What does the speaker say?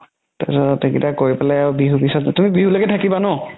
তাৰ পিছত সেইকেইতা কৰি পেলেই বিহু পিছত তুমি বিহু লৈকে থাকিবা ন